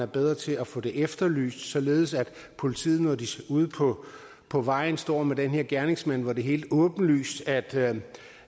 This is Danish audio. bedre til at få det efterlyst således at politiet når de ude på på vejen står med den her gerningsmand hvor det er helt åbenlyst at